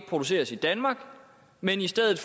produceres i danmark men i stedet